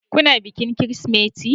Kuna bikin Kirsimeti?